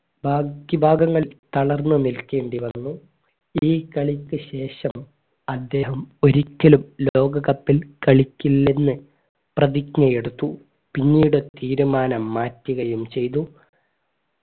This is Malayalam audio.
ബാക്കി ഭാഗങ്ങൾ തളർന്നു നിൽക്കേണ്ടി വന്നു ഈ കളിക്ക് ശേഷം അദ്ദേഹം ഒരിക്കലും ലോക cup ൽ കളിക്കില്ലെന്ന് പ്രതിജ്ഞയെടുത്തു പിന്നീട് തീരുമാനം മാറ്റുകയും ചെയ്തു